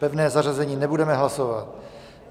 Pevné zařazení nebudeme hlasovat.